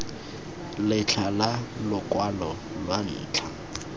letlha la lokwalo lwa ntlha